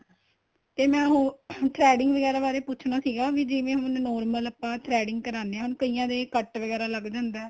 ਤੇ ਮੈਂ ਉਹ threading ਵਗੈਰਾ ਬਾਰੇ ਪੁੱਛਣਾ ਸੀਗਾ ਜਿਵੇਂ ਹੁਣ normal ਆਪਾਂ threading ਕਰਾਨੇ ਆਂ ਹੁਣ ਕਈਆਂ ਕੱਟ ਵਗੈਰਾ ਲੱਗ ਜਾਂਦਾ